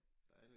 Dejligt